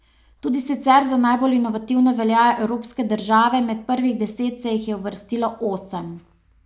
Tudi sicer za najbolj inovativne veljajo evropske države, med prvih deset se jih je uvrstilo osem.